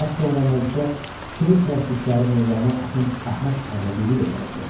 Az sonra məclisə şeirpərəst işğarı Mövlana Axund Əhməd Ərdəbili də gələcəkdi.